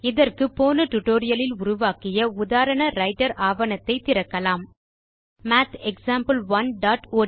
இதற்கு போன டுடோரியலில் உருவாக்கிய உதாரண ரைட்டர் ஆவணத்தை திறக்கலாம் மாத் example1ஒட்ட்